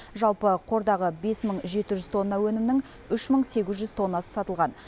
жалпы қордағы бес мың жеті жүз тонна өнімнің үш мың сегіз жүз тоннасы сатылған